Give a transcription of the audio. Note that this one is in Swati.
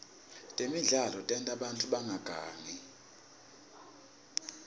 temidlalo tenta bantfu bangagangi